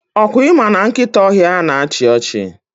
Ọkwa ịma na nkịta ọhịa na achị ọchị?